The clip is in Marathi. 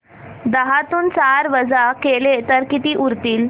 दहातून चार वजा केले तर किती उरतील